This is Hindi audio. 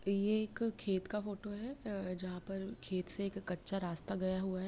ये एक खेत का फोटो है जहां से खेत से एक कच्चा रास्ता गया हुआ है।